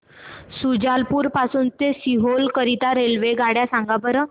शुजालपुर पासून ते सीहोर करीता रेल्वेगाड्या सांगा बरं